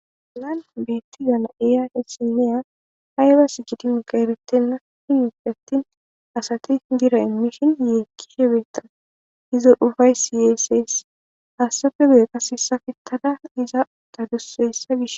Hagan betiya na'iya issiniya aybas gidiyogey eretena gidoppe atin asat birra imishn yekiyogeyka izo ugaysiy yeses. Haysappe guye qase saketada iza utaduse hessa Gish ....